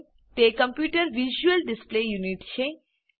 તે કમ્પ્યુટરની visual display unit છે